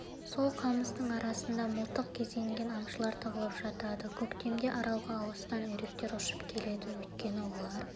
сол қамыстың арасында мылтық кезенген аңшылар тығылып жатады көктемде аралға алыстан үйректер ұшып келеді өйткені олар